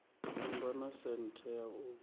kundwa na senthe ya u